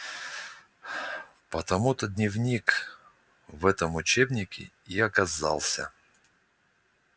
потому-то дневник в этом учебнике и оказался